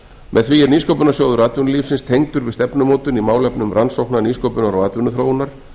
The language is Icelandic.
með því er nýsköpunarsjóður atvinnulífsins tengdur við stefnumótun í málefnum rannsókna nýsköpunar og atvinnuþróunar